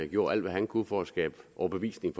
gjorde alt hvad han kunne for at skabe overbevisning